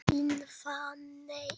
Þín, Fanney.